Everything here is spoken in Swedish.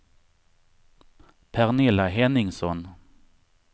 Pernilla Henningsson